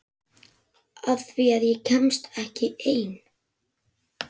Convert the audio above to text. Af því að ég kemst ekki ein.